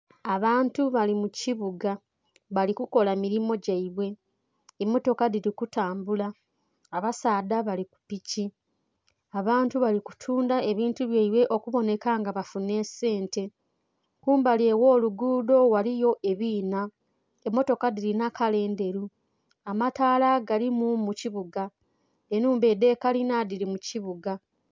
Abantu bali mukibuga bali kukola milimo gyeibwe, emotoka dhili kutambula abasaadha bali kupiki, abantu bali kutundha ebintu byeibwe okubonheka nga bafunha esente, kumbali okwolugudho ghaligho ebinha, emotoka dhilinha kala endhelu, amatala galimu mukibuga, enhumba edhe kalinha dhili mukibuga.